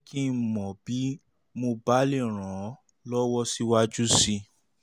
jẹ́ kí n mọ̀ bí mo bá lè ràn ọ́ um lọ́wọ́ síwájú sí i